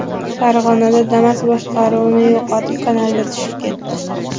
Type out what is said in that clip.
Farg‘onada Damas boshqaruvni yo‘qotib, kanalga tushib ketdi.